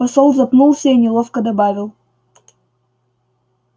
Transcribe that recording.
посол запнулся и неловко добавил